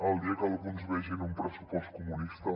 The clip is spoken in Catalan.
el dia que alguns vegin un pressupost comunista